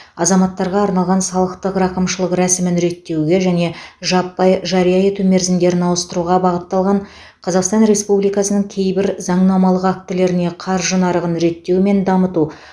азаматтарға арналған салықтық рақымшылық рәсімін реттеуге және жаппай жария ету мерзімдерін ауыстыруға бағытталған қазақстан республикасының кейбір заңнамалық актілеріне қаржы нарығын реттеу мен дамыту